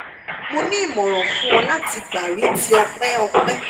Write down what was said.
mo ni imọran fun ọ lati gba mri ti ọpẹ ọpẹ